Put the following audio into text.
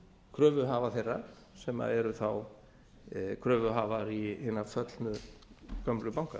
kröfuhafa þeirra sem eru þá kröfuhafar hinna föllnum gömlu banka